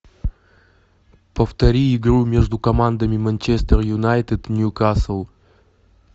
повтори игру между командами манчестер юнайтед ньюкасл